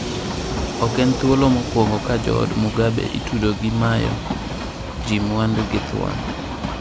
Ok en thuolo mokwongo ka jood Mugabe itudo gi mayo ji mwandu gi githuon.